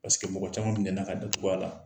mɔgɔ caman minɛna ka datug'a la.